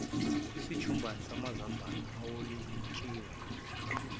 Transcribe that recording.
isijumbana samazambane amawolintshi